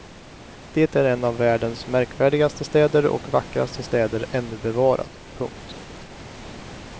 Det är en av världens märkvärdigaste städer och vackraste städer ännu bevarad. punkt